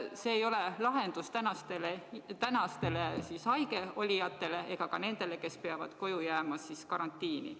See ei ole lahendus tänastele haigeks jäänutele ega ka nendele, kes peavad jääma koju karantiini.